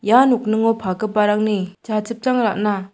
ia nokningo pagiparangni jachipchang ra·na--